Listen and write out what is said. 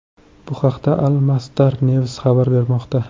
Bu haqda Al Masdar News xabar bermoqda .